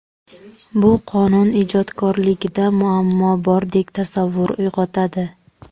Bu qonun ijodkorligida muammo bordek tasavvur uyg‘otadi.